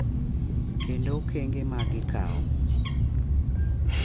Kendo okenge ma gikawo .